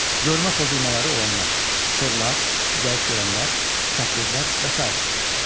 Görmə pozulmaları olanlar, korlar, zəif görənlər, çəpgözlər və sairə.